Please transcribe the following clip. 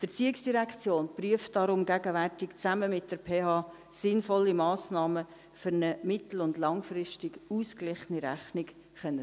Die ERZ prüft darum gegenwärtig zusammen mit der PH sinnvolle Massnahmen, um eine mittel- und langfristig ausgeglichene Rechnung gewährleisten zu können.